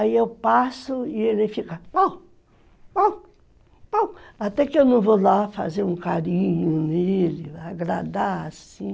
Aí eu passo e ele fica, au, au, au, até que eu não vou lá fazer um carinho nele, agradar assim.